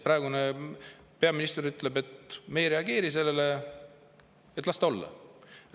Praegune peaminister ütleb, et me ei reageeri sellele, las ta olla.